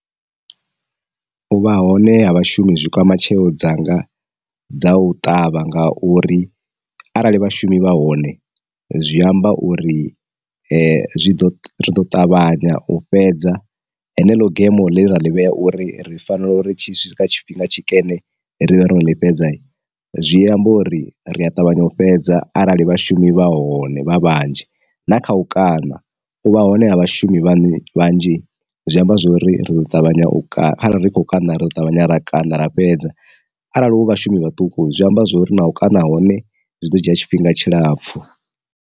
U vha hone ha vhashumi zwi kwama tsheo dzanga dza u ṱavha nga uri arali vhashumi vha hone zwi amba uri zwi ḓo ri ḓo ṱavhanya u fhedza hene lo gemo ḽe raḽi vhea uri ri fanela uri tshi swika tshifhinga tshikene ri ḓo ri ḽi fhedza, zwi amba uri ri a ṱavhanya u fhedza arali vhashumi vha hone vha vhanzhi na kha u kana u vha hone ha vhashumi vhane vhanzhi zwi amba zwori ri ḓo ṱavhanya u ri khou kana ro ṱavhanya ra kaṋa ra fhedza arali hu vhashumi vhaṱuku zwi amba zwori na u kaṋa hone zwi ḓo dzhia tshifhinga tshilapfu.